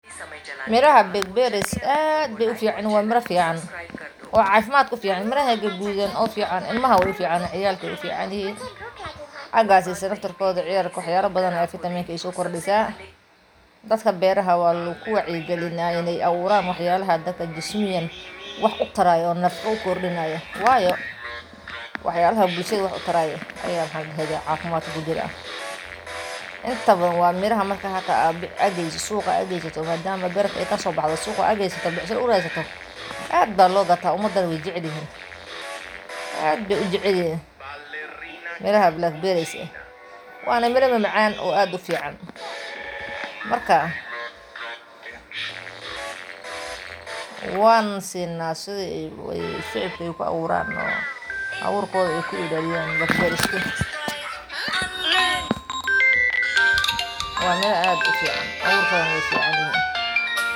Miraha blackberries-ka ee beerta waxay u baahan yihiin xaalado gaar ah si ay si fiican u koraan oo u miro dhalaan, iyadoo tiradooda iyo tayadoodu ku xirnaan doonto daryeelka, nooca dhulka, iyo deegaanka. Guud ahaan, waxay bilaabaan inay miro dhalaan inta u dhexeysa marka la beero, waxaana miro fiican laga filan karaa beerta hadii la siiyo biyo ku filan, ciid tayo leh oo dhoobo leh, iyo qorrax toos ah ugu yaraan. Beeralayda cusub ee raba inay bilaabaan korinta waxaa lagula talinayaa inay door bidaan noocyada adkeysiga leh ee deegaanka ay ku noolyihiin, isla markaana ay si joogto ah.